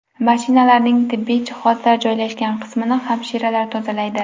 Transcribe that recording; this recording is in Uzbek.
Mashinalarning tibbiy jihozlar joylashgan qismini hamshiralar tozalaydi.